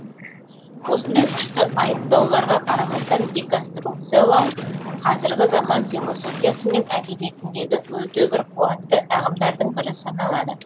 осындай күшті айыптауларға қарамастан деконструкциялау қазіргі заман философиясы мен әдебиетіндегі өте бір қуатты ағымдардың бірі саналады